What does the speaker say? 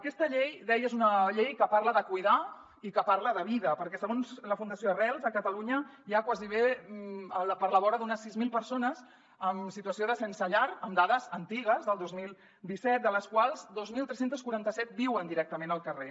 aquesta llei deia és una llei que parla de cuidar i que parla de vida perquè segons la fundació arrels a catalunya hi ha a la vora d’unes sis mil persones en situació de sense llar amb dades antigues del dos mil disset de les quals dos mil tres cents i quaranta set viuen directament al carrer